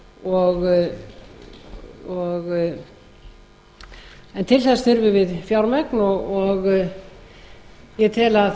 að orkuöflun en til þess þurfum við fjármagn og ég tel að